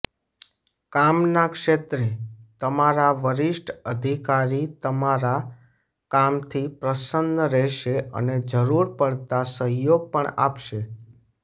કામના ક્ષેત્રે તમારા વરિષ્ઠ અધિકારી તમારા કામથી પ્રસન્ન રહેશે અને જરૂર પડતા સહયોગ પણ આપશે